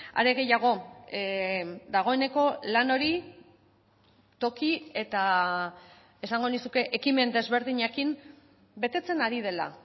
are gehiago dagoeneko lan hori toki eta esango nizuke ekimen desberdinekin betetzen ari dela